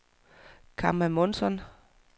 Kamma Månsson